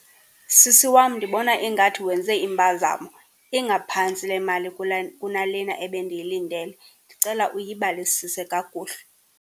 Sisi wam, ndibona ingathi wenze impazamo ingaphantsi le mali kunalena ebendiyilindele, ndicela uyibalisise kakuhle.